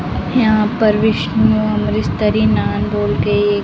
यहां पर विष्णु अमृतस्तरी नान बोलके एक --